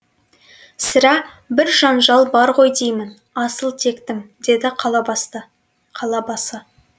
сірә бір жанжал бар ғой деймін асыл тектім деді қалабасы